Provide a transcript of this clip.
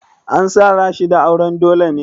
An sa Rashida auren dole ne?